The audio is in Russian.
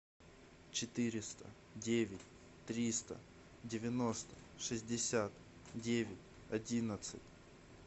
четыреста девять триста девяносто шестьдесят девять одиннадцать